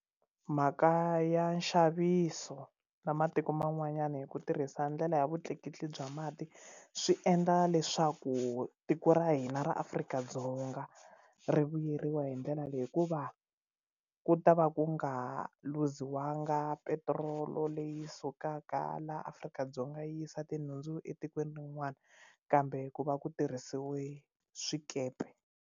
Mhaka ya nxaviso na matiko man'wanyana hi ku tirhisa ndlela ya vutleketli bya mati swi endla leswaku tiko ra hina ra Afrika-Dzonga ri vuyeriwa hi ndlela leyi hikuva ku ta va ku nga luziwanga petirolo leyi sukaka la Afrika-Dzonga yi yisa tinhundzu etikweni rin'wana kambe ku va ku tirhisiwe swikepe.